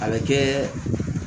A bɛ kɛ